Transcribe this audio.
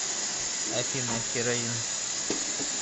афина хероин